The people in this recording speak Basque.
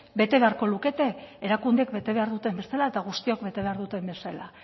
bete beharko lukete erakundeek bete behar duten bezala eta guztiok bete behar duten bezala